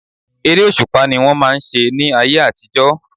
Eré òṣùpá ni wọ́n máà ń ṣe ní ayé àtijọ́.